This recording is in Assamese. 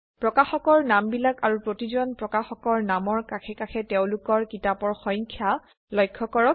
প্ৰকাশকৰ নামবিলাক আৰু প্ৰতিজন প্ৰকাশকৰ নামৰ কাষে কাষে তেওঁলোকৰ কিতাপৰ সংখ্য লক্ষ্য কৰক